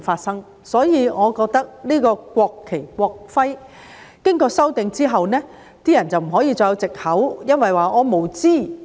所以，我覺得在《條例草案》經過修訂之後，人們就不可以再有藉口，說因為自己無知。